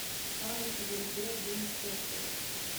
ханна сезон три одиннадцатая часть